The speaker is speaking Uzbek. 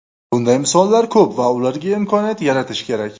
Bunday misollar ko‘p va ularga imkoniyat yaratish kerak.